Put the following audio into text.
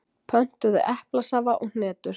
Pöntuðum eplasafa og hnetur.